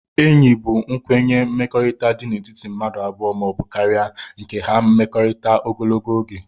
Enyi bu nkwenye mmekọrita di n' etiti mmadu abụọ ma obu karia nke ha mmekọritara ogologo oge